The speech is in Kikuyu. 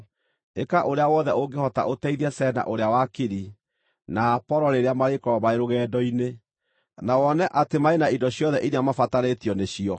Ĩka ũrĩa wothe ũngĩhota ũteithie Zena ũrĩa wakiri, na Apolo rĩrĩa marĩkorwo marĩ rũgendo-inĩ, na wone atĩ marĩ na indo ciothe iria mabatarĩtio nĩcio.